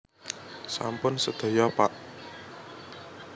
Sampun sedaya pak